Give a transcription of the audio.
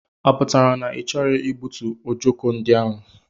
Ọ pụtara na i choghi igbutu ọjọko ndị ahụ?